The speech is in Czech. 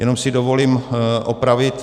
Jenom si dovolím opravit.